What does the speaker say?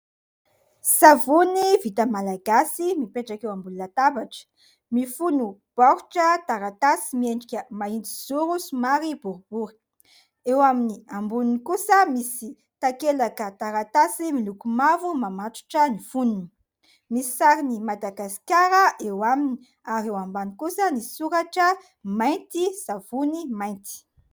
Savony vita malagasy mipetraka eo ambonina latabatra. Mifono baoritra taratasy miendrika mahitsizoro somary boribory. Eo amin'ny amboniny kosa misy takelaka taratasy miloko mavo mamatotra ny fonony. Misy sarin'i Madagasikara eo aminy ary eo ambany kosa ny soratra mainty savony mainty.